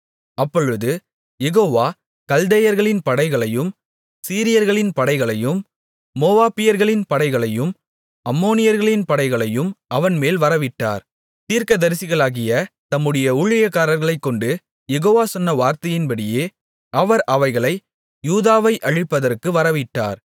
அப்பொழுது யெகோவா கல்தேயர்களின் படைகளையும் சீரியர்களின் படைகளையும் மோவாபியர்களின் படைகளையும் அம்மோனியர்களின் படைகளையும் அவன்மேல் வரவிட்டார் தீர்க்கதரிசிகளாகிய தம்முடைய ஊழியக்காரர்களைக்கொண்டு யெகோவா சொன்ன வார்த்தையின்படியே அவர் அவைகளை யூதாவை அழிப்பதற்கு வரவிட்டார்